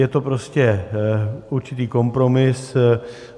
Je to prostě určitý kompromis.